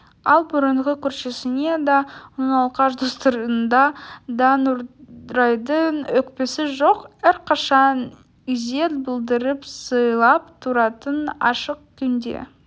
ал бұрынғы көршісіне де оның алқаш достарына да нұрайдың өкпесі жоқ әрқашан ізет білдіріп сыйлап тұратын ашық күнде